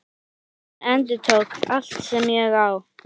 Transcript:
Hann endurtók: Allt sem ég á